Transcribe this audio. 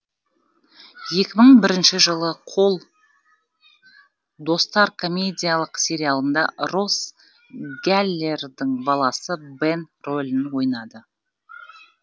екі мың бірінші жылы қол достар комедиялық сериалында росс гәллердің баласы бэн рөлін ойнады